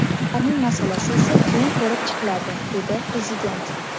Ularning masalasi esa keyin ko‘rib chiqiladi”, – dedi Prezident.